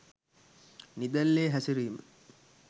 නිදැල්ලේ හැසිරීම